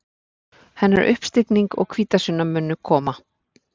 Hennar uppstigning og hvítasunna munu koma.